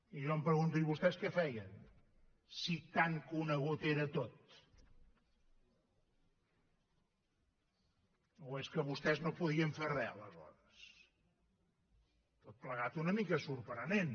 i jo em pregunto i vostès què feien si tan conegut era tot o és que vostès no podien fer re aleshores tot plegat una mica sorprenent